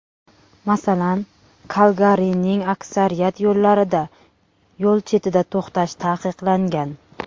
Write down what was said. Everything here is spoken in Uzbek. Masalan, Kalgarining aksariyat yo‘llarida yo‘l chetida to‘xtash taqiqlangan.